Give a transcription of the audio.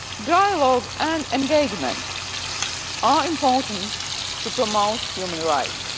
Dialogue and engagement are important in promoting human rights.